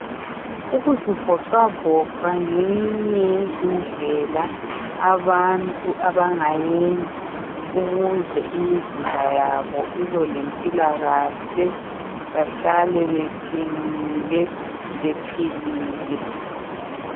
Ukuzivocavoca ngeyinye yezindlela abantu abangayenza ukuze imizimba yabo ibelempilakahle behlale beqinile bephilile.